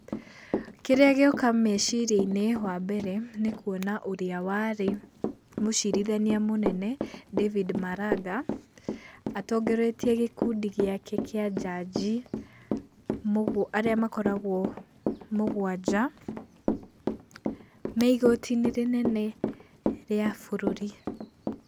Kĩria gĩoka meciria-inĩ wa mbere nĩ kuona ũrĩa warĩ mũcirithania mũnene David Maranga atongoretie gĩkundi giake kĩa njanji arĩa makoragwo mũgwanja me igoti-inĩ inene rĩa bũruri.